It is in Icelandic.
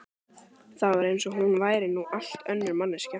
Það var eins og hún væri nú allt önnur manneskja.